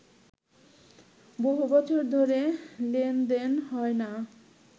বহুবছর ধরে লেনদেন হয় না